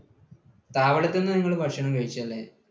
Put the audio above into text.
താവളത്ത് നിന്ന് നിങ്ങൾ ഭക്ഷണം കഴിച്ചോ എന്തെങ്കിലും?